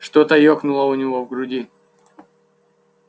что-то ёкнуло у него в груди